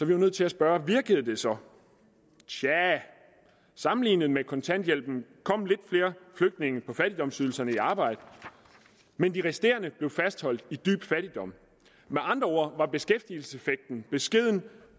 vi jo nødt til at spørge virkede det så tja sammenlignet med kontanthjælpen kom lidt flere flygtninge på fattigdomsydelser i arbejde men de resterende blev fastholdt i dyb fattigdom med andre ord var beskæftigelseseffekten beskeden